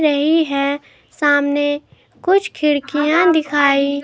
यही हैं सामने कुछ खिड़कियां दिखाई--